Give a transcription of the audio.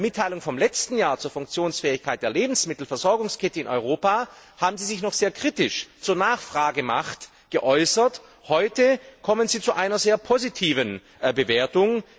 In der Mitteilung vom letzten Jahr zur Funktionsfähigkeit der Lebensmittelversorgungskette in Europa haben Sie sich noch sehr kritisch zur Nachfragemacht geäußert, heute kommen Sie zu einer sehr positiven Bewertung.